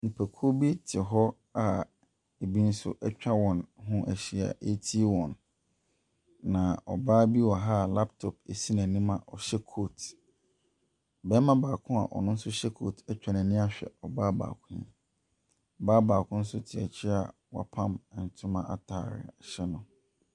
Nnipakuo bi te hɔ a ebi nso atwa wɔn ho ahyia retie wɔn. Na ɔbaa bi wɔ ha laptop si n'anim a ɔhyɛ coat, barima baako a ɔno nso hyɛ coat atwa n'ani ahwɛ ɔbaa Ɔbaa baako nso te akyi a wɔapam ntoma ataadeɛ hyɛ no.